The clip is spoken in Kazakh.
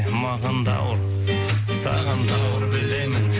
маған да ауыр саған да ауыр білемін